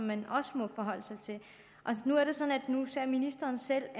man også må forholde sig til nu er det sådan at ministeren selv